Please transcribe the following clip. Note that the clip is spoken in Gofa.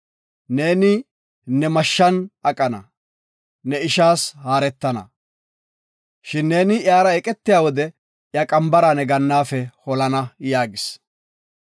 Neeni ne mashshan aqana, ne ishaas haaretana. Shin neeni iyara eqetiya wode iya qambara ne gannaafe holana” yaagis.